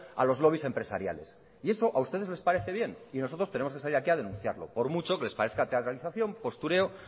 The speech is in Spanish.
a los lobbies empresariales y eso a ustedes le parece bien y nosotros tenemos que salir aquí a denunciarlo por mucho que les parezca teatralización postureo